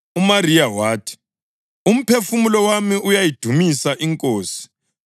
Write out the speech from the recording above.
UMariya wathi: “Umphefumulo wami uyayidumisa iNkosi